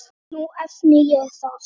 Nú efni ég það.